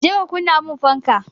Je ka kunna min fanka!